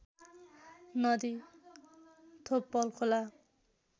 नदी थोप्पल खोला